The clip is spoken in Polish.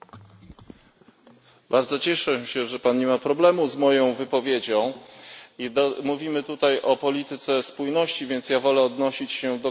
Bardzo się cieszę, że Pan nie ma problemu z moją wypowiedzią. Mówimy tutaj o polityce spójności, więc wolę odnosić się do konkretnych liczb.